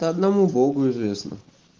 это одному богу известно